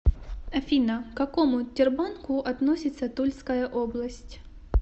афина к какому тербанку относится тульская область